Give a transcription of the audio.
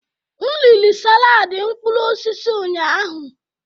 M riri saladi mkpụrụ osisi ụnyahụ.